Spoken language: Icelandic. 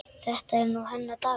Þetta er nú hennar dagur.